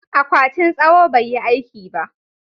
akwatin tsawo bai yi aiki ba